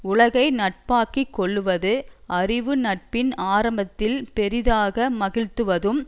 உலகை நட்பாக்கி கொள்ளுவது அறிவு நட்பின் ஆரம்பத்தில் பெரிதாக மகிழ்துவதும்